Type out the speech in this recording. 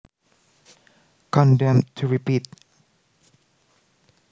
Condemned to Repeat